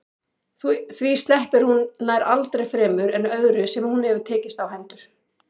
Því sleppir hún nær aldrei fremur en öðru sem hún hefur tekist á hendur.